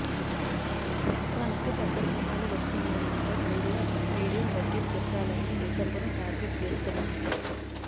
సంక్రాంతికి పెద్ద సినిమాలు వస్తుండడంతో మీడియం బడ్జెట్ చిత్రాలన్నీ డిసెంబర్ ను టార్గెట్ చేస్తున్నాయి